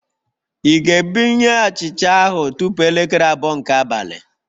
Ị ga-ebunye achịcha ahụ tupu elekere abụọ nke abalị?